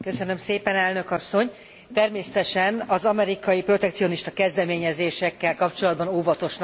Természetesen az amerikai protekcionista kezdeményezésekkel kapcsolatban óvatosnak kell lennünk és lépnünk kell.